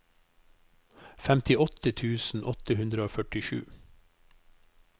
femtiåtte tusen åtte hundre og førtisju